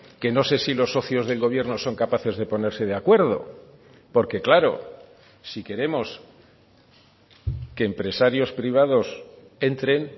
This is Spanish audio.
que no sé si los socios del gobierno son capaces de ponerse de acuerdo porque claro si queremos que empresarios privados entren